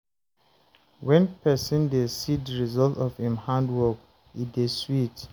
When person dey see di result of im hand work, e dey sweet